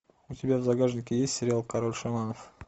у тебя в загашнике есть сериал король шаманов